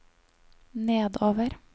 nedover